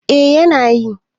eh yana yi